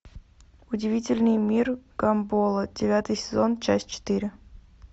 удивительный мир гамбола девятый сезон часть четыре